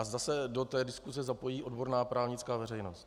A zda se do té diskuse zapojí odborná právnická veřejnost.